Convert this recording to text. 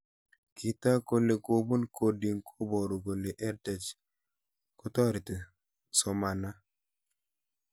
Kitok kole kopun coding ko paru kole edTech kotareti somana